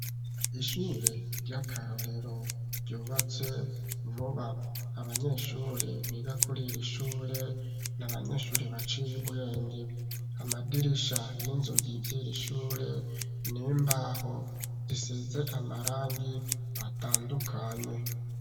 Ishure ry'akarorero, ryubatse vuba; abanyeshure, biga kuri iri ishure, ni abanyeshure baciye ubwenge; amadirisha n'inzugi vy'iri shure, ni imbaho; zisize amarangi, atandukanye.